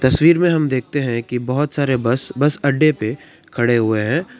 तस्वीर में हम देखते हैं कि बहुत सारे बस बस अड्डे पे खड़े हुए हैं।